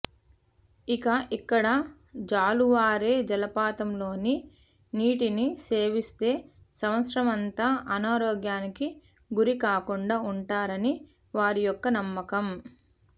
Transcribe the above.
ఇక ఇక్కడ జాలువారే జలపాతంలోని నీటిని సేవిస్తే సంవత్సరంఅంతా అనారోగ్యానికి గురి కాకుండా వుంటారని వారియొక్క నమ్మకం